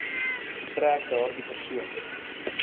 getrek daardie persoon